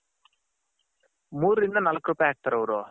ಮೂರು ಇಂದ ನಾಲಕ್ ರೂಪಾಯಿ ಹಾಕ್ತಾರೆ ಅವರು.